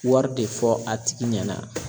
Wari de fɔ a tigi ɲɛna.